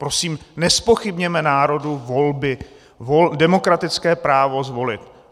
Prosím, nezpochybněme národu volby, demokratické právo zvolit.